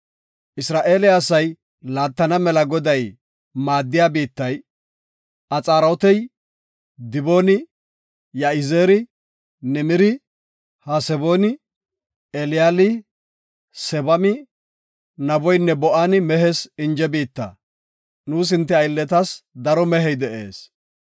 “Isra7eele asay laattana mela Goday maaddida biittay, Axaarotey, Dibooni, Ya7izeeri, Nimiri, Hasebooni, Eliyaali, Sebami, Naboynne Ba7ooni mehes inje biitta; nuus hinte aylletas daro mehey de7ees.